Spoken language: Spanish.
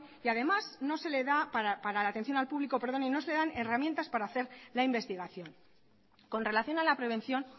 y además no se le da para la atención al público perdone y no se le dan herramientas para hacer la investigación con relación a la prevención